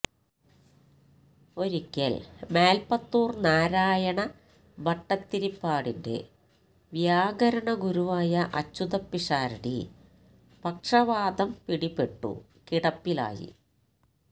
ഒരിക്കൽ മേൽപ്പത്തൂർ നാരായണ ഭട്ടതിരിപ്പാടിന്റെ വ്യാകരണഗുരുവായ അച്യുതപിഷാരടി പക്ഷവാതം പിടിപെട്ടു കിടപ്പിലായി